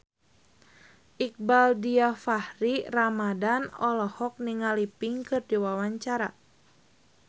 Iqbaal Dhiafakhri Ramadhan olohok ningali Pink keur diwawancara